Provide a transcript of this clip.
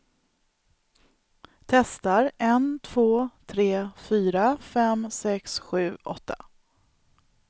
Testar en två tre fyra fem sex sju åtta.